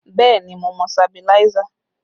Bẹẹ ni, mo ní sabiláísà